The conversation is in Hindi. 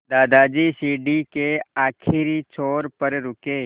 दादाजी सीढ़ी के आखिरी छोर पर रुके